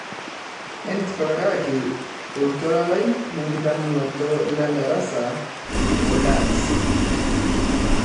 etipikaki oltuala lai lenkitadamunoto lendarasa oldans